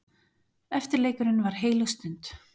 Eftirleikurinn var heilög stund.